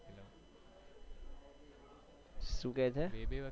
શું કી છે